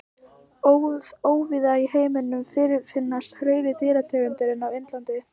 Óvíða í heiminum fyrirfinnast fleiri dýrategundir en á Indlandi.